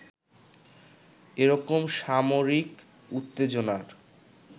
এরকম সামরিক উত্তেজনার